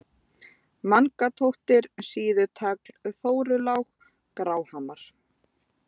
Mangatóttir, Síðutagl, Þórulág, Gráhamar